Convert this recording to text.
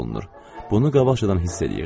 Bunu qabaqcadan hiss eləyirdim.